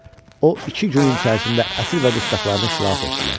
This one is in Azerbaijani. O iki günün içərisində əsir və dustaqlarını xilas etdilər.